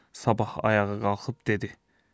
Sabah ayağa qalxıb dedi: